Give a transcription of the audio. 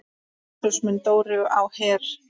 Jesús minn, Dóri á Her!